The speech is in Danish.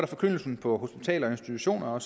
forkyndelsen på hospitaler og institutioner